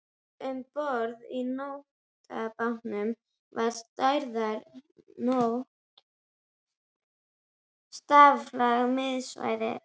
Um borð í nótabátnum var stærðar nót staflað miðsvæðis.